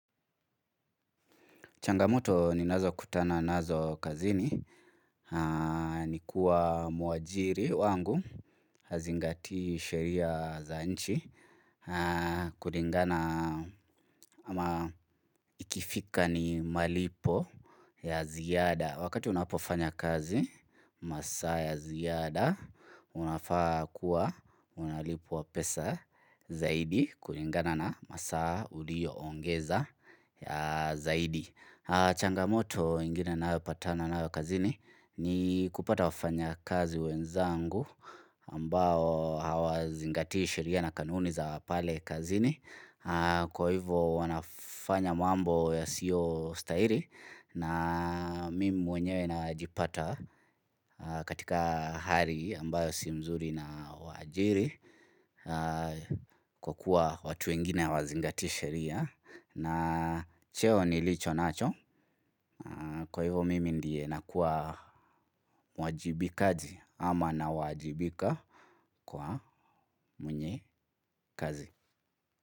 Changamoto ninazo kutana nazo kazini, ni kuwa muajiri wangu, hazingatii sheria za nchi, kulingana ama ikifika ni malipo ya ziada. Wakati unapofanya kazi, masaa ya ziada, unafaa kuwa, unalipwa pesa zaidi, kulingana na masaa uliyoongeza zaidi. Changamoto ingine ninayopatana nayo kazini ni kupata wafanyakazi wenzangu ambao hawazingatii sheria na kanuni za pale kazini Kwa hivyo wanafanya mambo yasiyostahili na mimi mwenyewe najipata katika hali ambayo si mzuri na waajiri Kwa kuwa watu wengine hawazingati sheria na cheo nilicho nacho Kwa hivyo mimi ndiye nakuwa mwajibikaji ama nawajibika kwa mwenye kazi.